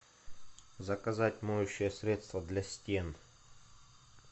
заказать моющее средство для стен